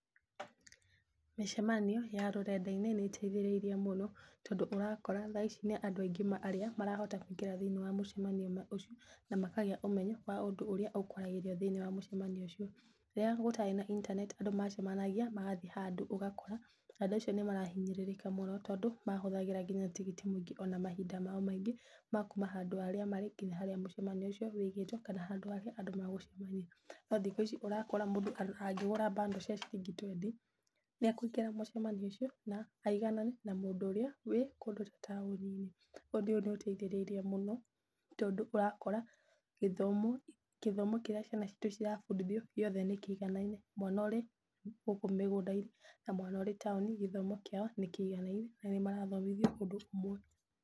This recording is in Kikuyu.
Mĩcemanio ya rũrenda-inĩ nĩ ĩteithĩrĩirie mũno, tondũ ũrakora thaa ici nĩ andũ aingĩ arĩa marahota kũingĩra thĩiniĩ wa mũcemanio ũcio na makagĩa ũmenyo wa ũndu ũrĩa ũkwaragĩrio thĩiniĩ wa mũcemanio ũcio. Rĩrĩa gũtarĩ na intaneti andũ macemanagia magathiĩ handũ, ũgakora andũ acio nĩ marahinyĩrĩrĩka mũno, tondũ mahũthagĩra nginya tigiti mũingĩ ona mahinda mao maingĩ ma kuma harĩa marĩ nginya harĩa mũcemanio ũcio wigĩtwo, kana harĩa andũ magũcemania. No thikũ ici ũrakora mũndũ angĩgũra bundles cia ciringi twendi nĩ ekũingira mũcemanio ũcio, na aiganane na mũndũ ũrĩa wĩ kũndũ taũni-inĩ. Ũndũ ũyũ nĩ ũteithĩrĩirie mũno, tondũ ũrakora gĩthomo, gĩthomo kĩrĩa ciana citũ cirabundithio gĩothe nĩ kĩiganaine. Mwana ũrĩ gũkũ mĩgũnda-inĩ na mwana ũrĩ gũkũ taũni-inĩ, gĩthomo kĩao nĩ kĩiganaine, na nĩ marathomithio ũndũ ũmwe.